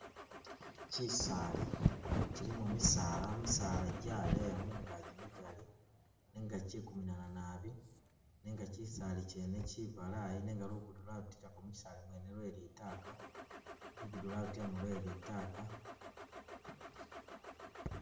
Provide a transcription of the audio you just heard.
Chisaali chilimo misaala, misaala jaleya mungaji migali nenga chikuminana naabi nenga chisaali chene chibalayi nenga lugudo lwabitilako muchisaali mwene lwe litaka, lugudo lwabitilamo lwe litaka